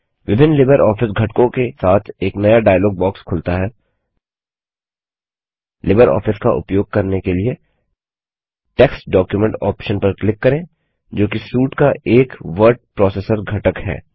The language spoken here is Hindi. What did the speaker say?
विभिन्न लिबर ऑफिस घटकों के साथ एक नया डाइलॉग बॉक्स खुलता है लिबर ऑफिस का उपयोग करने के लिए टेक्स्ट डॉक्यूमेंट ऑप्शन पर क्लिक करें जोकि सूट का एक वर्ड प्रोसेसर घटक है